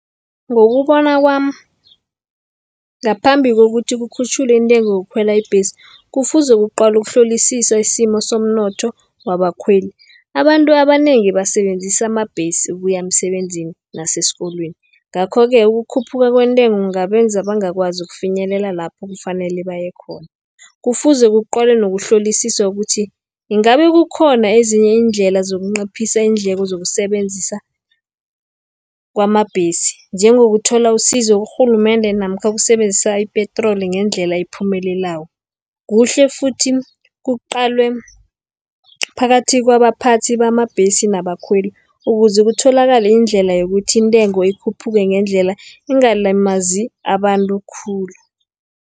Ngokubona kwami ngaphambi kokuthi kukhutjhulwe intengo yokukhwela ibhesi, kufuze kuqalwe ukuhlolisiswa isimo somnotho wabakhweli. Abantu abanengi basebenzisa amabhesi ukuya emsebenzini nasesikolweni. Ngakho-ke ukukhuphuka kwentengo, kungabenza bangakwazi ukufinyelela lapho kufanele bayekhona. Kufuze kuqalwe nokuhlolisiswa ukuthi ingabe kukhona ezinye iindlela zokunciphisa iindleko zokusebenzisa kwamabhesi, njengokuthola usizo kurhulumende, namkha ukusebenzisa ipetroli ngendlela ephumelelako. Kuhle futhi kuqalwe phakathi kwabaphathi bamabhesi, nabakhweli ukuze kutholakale iindlela yokuthi intengo ikhuphuke ngendlela, ingalimazi abantu khulu.